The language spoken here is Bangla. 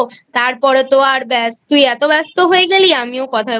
তার পরে তো আর ব্যাস তুই এতব্যস্ত হয়ে গেলি আমিও কথায়